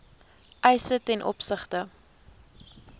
eise ten opsigte